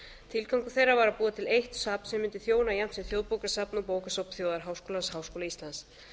tilgangur þeirra var að búa til eitt safn sem mundi þjóna jafnt sem þjóðbókasafn og bókasafn þjóðarháskólans háskóla íslands